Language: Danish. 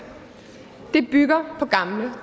det bygger på gamle